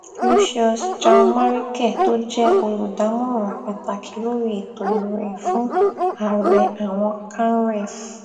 lucious janmarike tó jẹ olùdámọràn pàtàkì lórí ètò ìròyìn fún àárẹ àwọn canrev